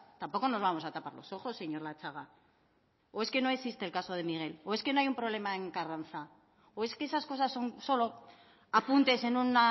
tampoco nos vamos a tapar los ojos señor latxaga o es que no existe el caso de miguel o es que no hay un problema en carranza o es que esas cosas son solo apuntes en un